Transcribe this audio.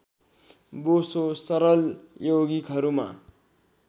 बोसो सरल यौगिकहरूमा